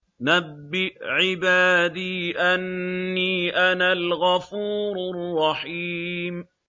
۞ نَبِّئْ عِبَادِي أَنِّي أَنَا الْغَفُورُ الرَّحِيمُ